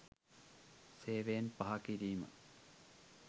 සේවයෙන් පහකිරීම.